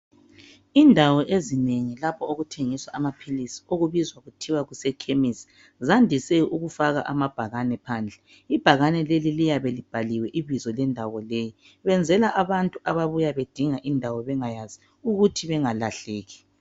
Indawo ezinengi lapho okuthengiswa amaphilisi , okubizwa kuthiwa kusekhemisi. Zandise ukufaka amabhakane phandle ,ibhakane leli liyabe libhaliwe ibizo lendawo leyi . Kwenzelwa abantu ababuya bedinga indawo bengayazi ukuthi bengalahleki.